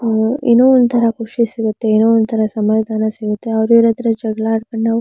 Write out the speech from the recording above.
ಏನೋ ಒಂದುತರ ಖುಷಿ ಸಿಗುತ್ತೆ ಏನೋ ಒಂದತರ ಸಮದಾನ ಸಿಗುತ್ತೆ ಅವರ ಇವರ ಹತ್ರ ಜಗಳ ಮಾಡಿಕೊಂಡು ನಾವು--